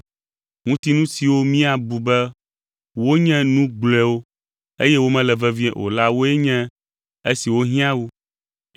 Ŋutinu siwo míabu be wonye nu gblɔewo, eye womele vevie o la woe nye esiwo hiã wu.